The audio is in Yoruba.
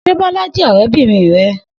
Se Bola je orebirin re?